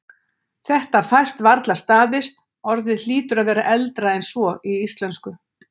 Þetta fæst varla staðist, orðið hlýtur að vera eldra en svo í íslensku.